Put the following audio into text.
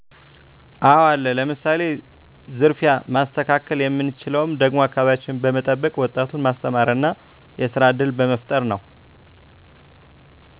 አወ አለ ለምሳሌ፦ ዝርፊያ ማስተካከል የምንችለውም ደግሞ አከባቢያችን በመጠበቅ ወጣቱን ማስተማር እና የስራ እድል በመፍጠር ነው